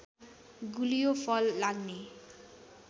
गुलियो फललाग्ने